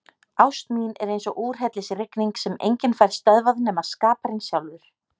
Ást mín er eins og úrhellisrigning sem enginn fær stöðvað nema skaparinn sjálfur.